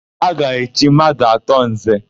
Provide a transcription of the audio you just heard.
Ha ga-echi mmadụ atọ Nze.